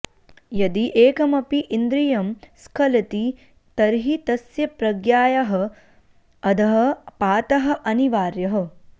यदि एकमपि इन्द्रियं स्खलति तर्हि तस्य प्रज्ञायाः अधः पातः अनिवार्यः